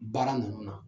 Baara ninnu na